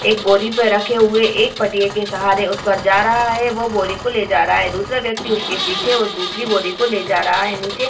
एक बोरी पे रखे हुए एक पट्टिये के सहारे उस पर जा रहा है वो बोरी को ले जा रहा है दूसरे व्यक्ति उसके पीछे वो दूसरी बोरी को ले जा रहा है निचे --